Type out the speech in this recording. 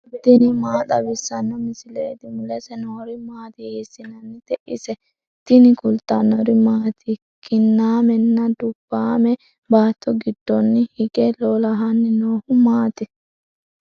tini maa xawissanno misileeti ? mulese noori maati ? hiissinannite ise ? tini kultannori maati? Kinnamenna dubbaamme baatto giddonni hige lolahanni noohu maatti?